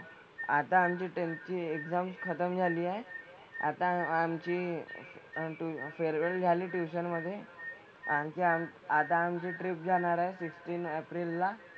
आता आमची tenth ची exam खतम झाली आहे. आता आमची ते farewell झाली tuition मधे. आणखी आम आता आमची trip जाणार आहे fifteen एप्रिल ला.